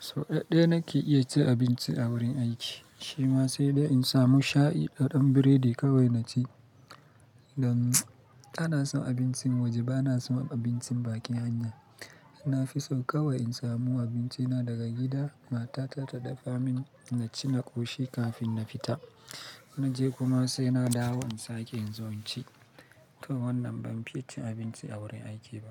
Sau ɗaya nake iya cin abinci a wurin aiki, shi ma sai in samu shayi da ɗan biredi kawai na ci. Dan kana son abincin waje ba na son abincin bakin hanya. Na fi sau kawai in samu abinci na daga gida, matata ta dafa min na ci na ƙoshi kafin na fita. Na je kuma sai na dawo in sake in zo in ci. Don wannan ban fi cin abinci a wurin aiki ba.